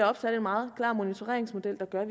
opsat en meget klar monitoreringsmodel der gør